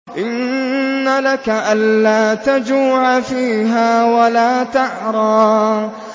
إِنَّ لَكَ أَلَّا تَجُوعَ فِيهَا وَلَا تَعْرَىٰ